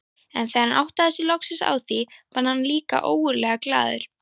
En þegar hann áttaði sig loksins á því varð hann líka ógurlega glaður.